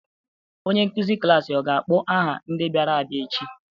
Onye nkuzi klaasị ọ ga-akpọ aha ndị bịara abịa echi?